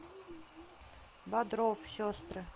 бодров сестры